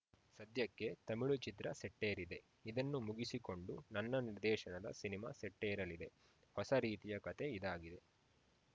ಸದ್ಯಕ್ಕೆ ತಮಿಳು ಚಿತ್ರ ಸೆಟ್ಟೇರಿದೆ ಇದನ್ನು ಮುಗಿಸಿಕೊಂಡು ನನ್ನ ನಿರ್ದೇಶನದ ಸಿನಿಮಾ ಸೆಟ್ಟೇರಲಿದೆ ಹೊಸ ರೀತಿಯ ಕತೆ ಇದಾಗಿದೆ